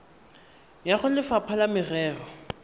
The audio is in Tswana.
ya go lefapha la merero